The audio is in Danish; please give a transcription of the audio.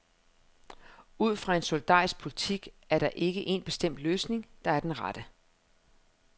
Ud fra en solidarisk politik er der ikke en bestemt løsning, der er den rette.